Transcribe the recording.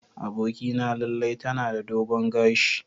Abokina Laila tana da dogon gashi.